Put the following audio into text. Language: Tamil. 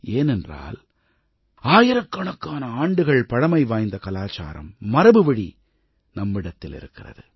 ஏனென்றால் ஆயிரக்கணக்கான ஆண்டுகள் பழமைவாய்ந்த கலாச்சாரம் மரபுவழி நம்மிடத்தில் இருக்கிறது